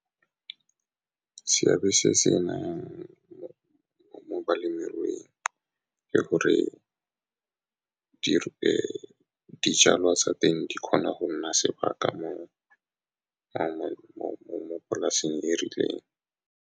Seabe se se mo balemirui ke gore dijalwa tsa teng di kgona go nna sebaka mo polaseng e rileng.